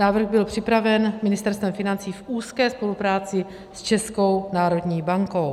Návrh byl připraven Ministerstvem financí v úzké spolupráci s Českou národní bankou.